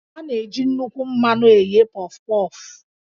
A na-eji nnukwu mmanụ eghe Pọf-Pọf